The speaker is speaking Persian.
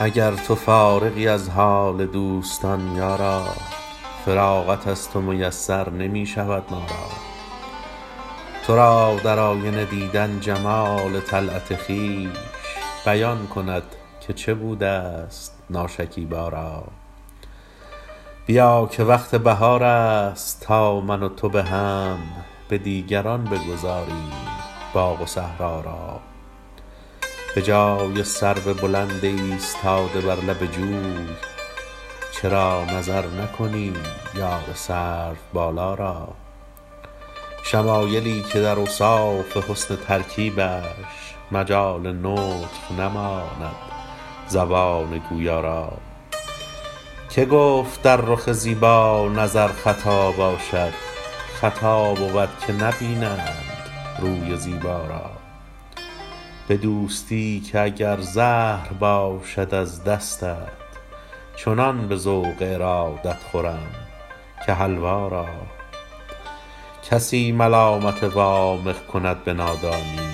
اگر تو فارغی از حال دوستان یارا فراغت از تو میسر نمی شود ما را تو را در آینه دیدن جمال طلعت خویش بیان کند که چه بوده ست ناشکیبا را بیا که وقت بهار است تا من و تو به هم به دیگران بگذاریم باغ و صحرا را به جای سرو بلند ایستاده بر لب جوی چرا نظر نکنی یار سروبالا را شمایلی که در اوصاف حسن ترکیبش مجال نطق نماند زبان گویا را که گفت در رخ زیبا نظر خطا باشد خطا بود که نبینند روی زیبا را به دوستی که اگر زهر باشد از دستت چنان به ذوق ارادت خورم که حلوا را کسی ملامت وامق کند به نادانی